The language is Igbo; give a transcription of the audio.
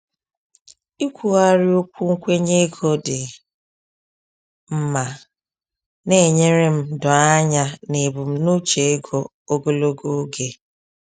Ikwugharị okwu nkwenye ego dị mma na-enyere m doo anya n’ebumnuche ego ogologo oge.